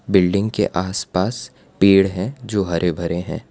Building के आसपास पेड़ हैं जो हरे भरे हैं।